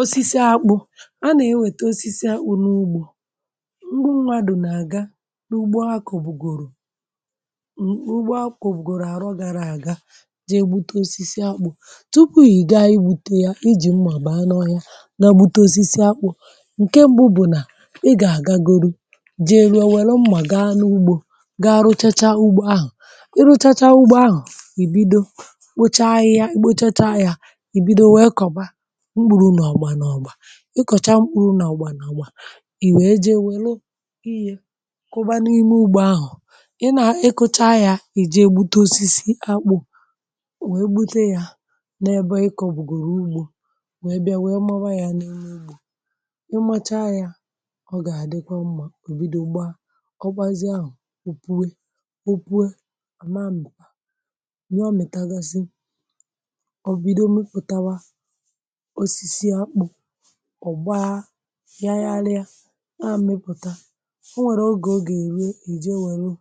Osisi akpụ̇ a nà-ewète, osisi akpụ̇ n’ugbȯ. M̀gbụ nwa dù nà-àga n’ugbo, akọ̀ bụ̀gòrò m̀ ugbò, akpụ̀ gòrò àrọ gara àga, jee gbute osisi akpụ̇...Tupu i ga-igbute ya, ijì m̀ mà bàa, nọ ya, na-egbute osisi akpụ̇, nke mbụ bụ̀ nà ị gà-àgagoro, jee ruo, welo m̀mà, gaa n’ugbȯ, gaa rụchacha ugbò ahụ̀ (m) Ị rụchacha ugbò ahụ̀, ì bido, kpochaghị ya, kpochaghị ya, ì bido wee kọ̀ba. Ị kọ̀cha mkpụrụ n’ọgbà n’ọgbà, ì wèe jee wèle, kụbazie ime ugbȯ ahụ̀. Ị nà-ekòcha yà, ì ji egbute osisi akpụ̇, wèe gbute ya n’ebe ịkọ̇ bụ̀gòrò ugbȯ... Wèe bịa, wèe mara ya n’ime ugbȯ. Ị macha ya, ọ gà-àdịkọ mmȧ. Ò bido gba, ọ gbazịa ahụ̀, ọ pụọ̀, ọ pụọ̀ àma. Mbìkpà nwẹọ, mị̀tagasị ọ̀gba ya, ya alịa, o nà àmepụ̀ta. O nwèrè ogè ọ gà-èru, èje nwèrè(um)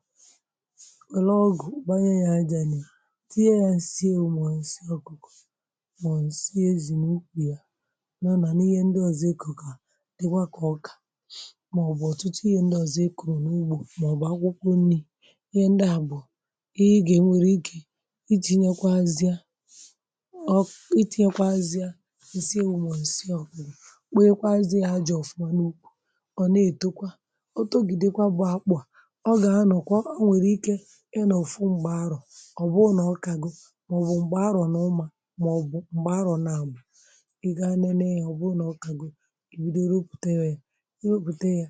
ọgụ̀, gbanye ya n’ìa, tinye ya ǹsịe ụmụ̀, ǹsịe ọ̀kụkọ̀ nà ǹsịe ezì n’ukwu ya, nànàn ihe ndị ọ̀zọ ekòkà dịwa, kà ọkà màọbụ̀ ọ̀tụtụ ihe ndị ọ̀zọ ekòrò n’ugbȯ màọbụ̀ akwụkwọ nni̇. Ihe ndị à bụ̀ ihe ị gè nwere ike iji̇ nyekwa, azịa kpeekwazị. A ji ọ̀fụma n’ukwù ọ̀, na-ètekwa, otogidekwa bụ̀ akpụ̀ a. Ọ gà-anọ̀kwa, o nwèrè ike. Ị nọ̀fụ m̀gbè arọ̀, ọ̀ bụrụ nà ọ kaghi, ọ̀ bụ̀ m̀gbè arọ̀ n’ụmà, mà ọ̀ bụ̀ m̀gbè arọ̀, na-àbụ̀ i ga nene ya. Ọ bụrụ nà ọ kaghi, ì bidoro rọpùtewe ya. I rọpùte ya,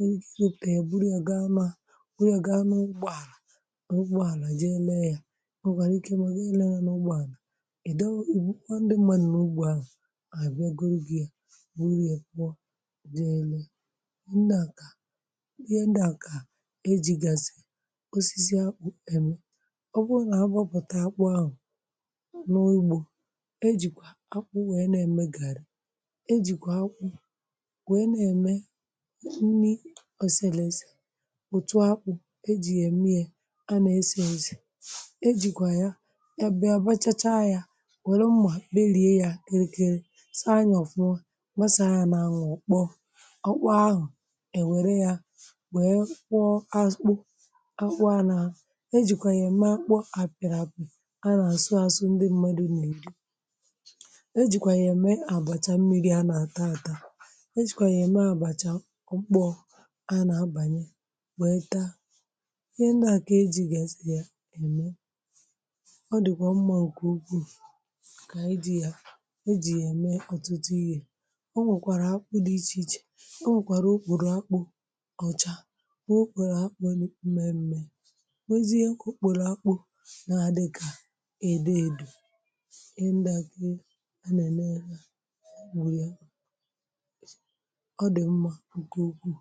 i gbuta, èburù ya gaa n’ụgbọ àlà ji ele ya. Ọ gà na-ekè,.. ma gị ele ya n’ụgbọ àlà dị elu. um Ndị a kà ihe ndị a kà e jì gasị osisi eme. Ọ bụrụ nà, ọ bụrụ nà akpọpụta akpụ̀ ahụ̀ n’ogbo, e jìkwa akpụ̀ wee na-eme gara, e jìkwa akpụ̀ wee na-eme nni, osele, ese, etu akpụ̀ e jì ya eme. A na-èsé, e jìkwa ya, ya bịa abachacha ya, were mmà belie ya, nwasà ahụ̀ n’anwụ̀. Ọ kpọ̀, ọ kpọ̀ ahụ̀, e nwee yà, wee kwọ akpọ, akwọ. A nà-ejikwa yà mee akpọ̀ àpị̀rị̀apị̀, a nà-àsụ àsụ, ndị mmadụ̀ nà-èdi, e jìkwa yà mee àgbàchà mmịrị̇, a nà-ata ata, àta. E jìkwa yà mee àbàchà. Ọ kpọ̀, a nà-abanye, wèe taa ihe ndị àkà e ji̇ gàsị̀ yà ème. Ọ dịkwa mmụ̀ọ̀ nke ukwuu... Ǹkà ịdị yà, ọ nwèkwàrà akpụ̀ dị iche iche. Ọ nwèkwàrà okpùrù akpụ̀ ọ̀chà, okpùrù akpụ̀ nà ume mmė. um Wezìghì ekwu, okpùrù akpụ̀ nà-adị kà edo edò, ị ndakị̇ a nà-ène ha, bụ̀ ya ọ dị̀ mmȧ nke okwu̇.